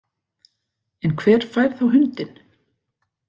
En hver fær þá hundinn